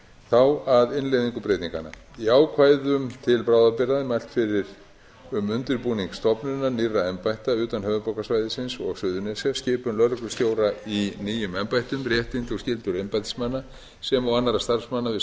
þá að innleiðingu breytinganna í ákvæðum til bráðabirgða er mælt fyrir um undirbúning stofnunar nýrra embætta utan höfuðborgarsvæðisins og suðurnesja skipun lögreglustjóra í nýjum embættum réttindi og skyldur embættismanna sem og annarra starfsmanna við